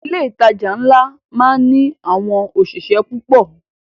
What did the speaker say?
Ilé ìtajà ńlá máá ń ní àwọn òṣìṣẹ́ púpọ̀